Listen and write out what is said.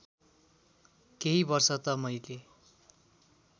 केही वर्ष त मैले